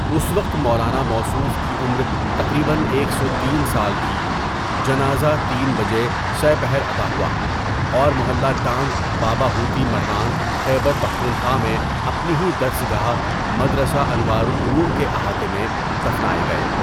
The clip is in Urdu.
اس وقت مولاناموصوف کی عمرتقریباً ایک سو تین سال تھی، جنازہ تین بجے سہ پہرادا ہوا، اور محلہ ڈانگ بابا ہوتی مردان خیبرپختون خوامیں اپنی ہی درس گاہ مدرسہ انوارالعلوم کےاحاطےمیں دفنائے گئے.